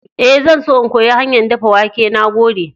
Ee, zan so in koyi hanyar dafa wake. Na gode.